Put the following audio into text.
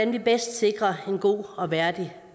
vi bedst sikrer en god og værdig